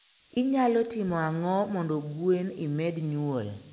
Inyalo timo ang'o mondo gwen imed nyuol?